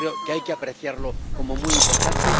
Yo creo que hay que apreciarlo como muy importante.